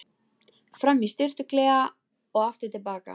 Fram í sturtuklefa og aftur til baka.